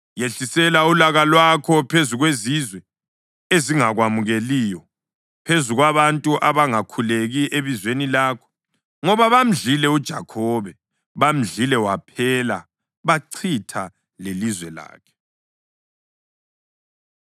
Yehlisela ulaka lwakho phezu kwezizwe ezingakwamukeliyo, phezu kwabantu abangakhuleki ebizweni lakho. Ngoba bamdlile uJakhobe, bamdlile waphela bachitha lelizwe lakhe.